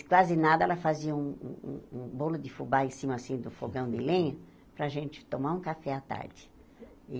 E, quase nada, ela fazia um um um bolo de fubá em cima, assim, do fogão de lenha, para a gente tomar um café à tarde.